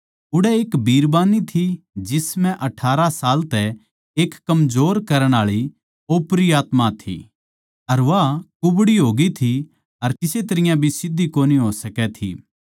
उड़ै एक बिरबान्नी थी जिसम्ह अठारह साल तै एक कमजोर करण आळी ओपरी आत्मा थी अर वा कुबड़ी होगी थी अर किसे तरियां भी सीध्धी कोनी हो सकै थी